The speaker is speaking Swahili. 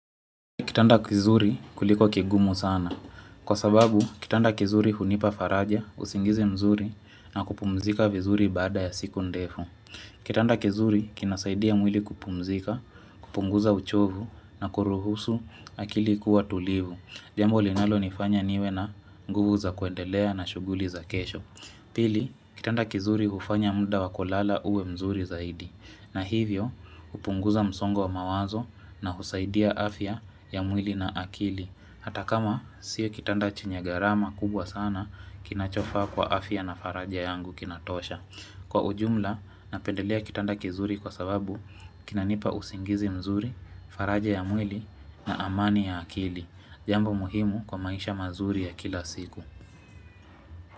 Kitanda kizuri kuliko kigumu sana. Kwa sababu, kitanda kizuri hunipa faraja, usingizi mzuri na kupumzika vizuri baada ya siku ndefu. Kitanda kizuri kinasaidia mwili kupumzika, kupunguza uchovu na kuruhusu akili kuwa tulivu. Jambo linalo nifanya niwe na nguvu za kuendelea na shughuli za kesho. Pili, kitanda kizuri hufanya muda wakulala uwe mzuri zaidi. Na hivyo hupunguza msongo wa mawazo na husaidia afya ya mwili na akili Hata kama sio kitanda chenye gharama kubwa sana kinachofaa kwa afya na faraja yangu kinatosha Kwa ujumla napendelea kitanda kizuri kwa sababu kinanipa usingizi mzuri, faraja ya mwili na amani ya akili Jambo muhimu kwa maisha mazuri ya kila siku.